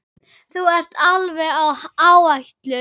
Þú ert alveg á áætlun.